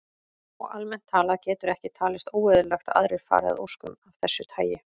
Og almennt talað getur ekki talist óeðlilegt að aðrir fari að óskum af þessu tagi.